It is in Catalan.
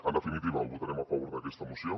en definitiva votarem a favor d’aquesta moció